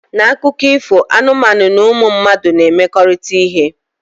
Na akụkọ ifo anụmanụ na ụmụ mmadụ na-emekọrịta ihe